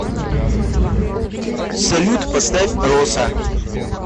салют поставь роса